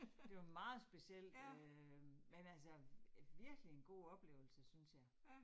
Det var meget specielt øh, men altså virkelig en god oplevelse synes jeg